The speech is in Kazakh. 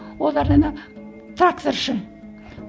олар ана тракторшы